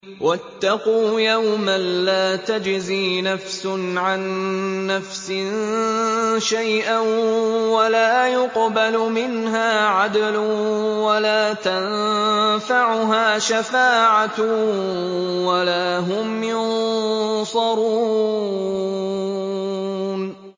وَاتَّقُوا يَوْمًا لَّا تَجْزِي نَفْسٌ عَن نَّفْسٍ شَيْئًا وَلَا يُقْبَلُ مِنْهَا عَدْلٌ وَلَا تَنفَعُهَا شَفَاعَةٌ وَلَا هُمْ يُنصَرُونَ